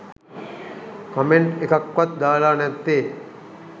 Comment එකක්වත් දාලා නැත්තේ.